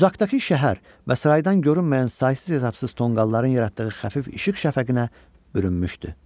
Uzaqdakı şəhər və sıradan görünməyən saysız-hesabsız tonqalların yaratdığı xəfif işıq şəfəqinə bürünmüşdü.